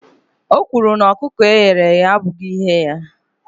O kwuru na ọkụkọ e ghere eghe abụghị ihe ya